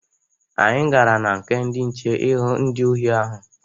Anyị gara na nke ndị nche ịhụ ndị ohi ahụ.